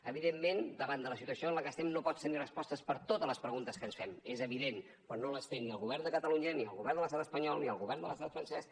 evidentment davant de la situació en la que estem no pots tenir respostes per a totes les preguntes que ens fem és evident però no les té ni el govern de catalunya ni el govern de l’estat espanyol ni el govern de l’estat francès